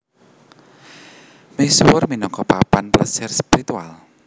Misuwur minangka papan plesiran spiritual